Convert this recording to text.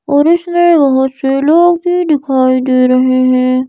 और इसमें बहुत से लोग भी दिखाई दे रहे हैं।